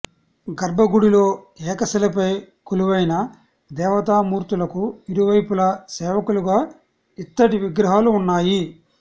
గర్భగుడిలో ఏకశిలపై కొలువైన దేవతామూర్తులకు ఇరువైపులా సేవకులుగా ఇత్తడి విగ్రహాలు ఉన్నాయి